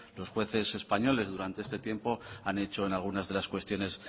los jueces españoles durante este tiempo han hecho en algunas de las cuestiones